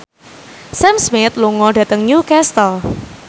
Sam Smith lunga dhateng Newcastle